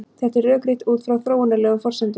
Þetta er rökrétt út frá þróunarlegum forsendum.